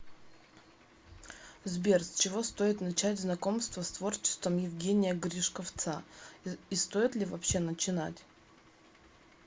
сбер с чего стоит начать знакомство с творчеством евгения гришковцаи стоит ли вообще начинать